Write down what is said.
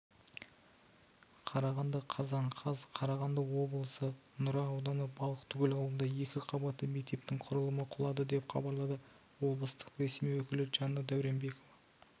қарағанды қазан қаз қарағанды облысынұра ауданы балықтыкөл ауылында екі қабатты мектептің құрылымы құлады деп хабарлады облыстық ресми өкілі жанна дауренбекова